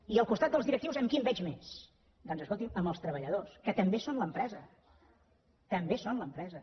i al costat dels directius amb qui em veig més doncs escolti amb els treballadors que també són l’empresa també són l’empresa